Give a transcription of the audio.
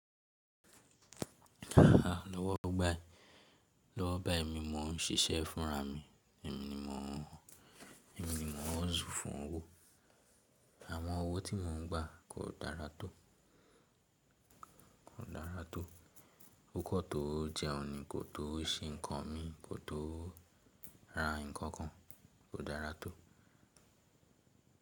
Lọ́wọ́ bái ẹ̀mí mo ń ṣiṣẹ́ fúnra mi, ẹ̀mí ni mò ń, ẹ̀mí ni mò n hustle fún owó. Àwọn owó tí mò ń gba kò dára tó, kò dára tó. Ó kàn tó jẹhun ni kò tó ṣe ǹkan mi kò tó ra ǹkan kan kò dára tó.